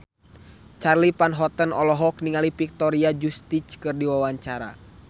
Charly Van Houten olohok ningali Victoria Justice keur diwawancara